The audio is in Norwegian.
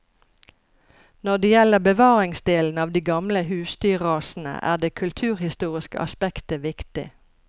Når det gjelder bevaringsdelen av de gamle husdyrrasene, er det kulturhistoriske aspektet viktig.